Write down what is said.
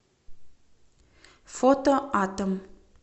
фото атом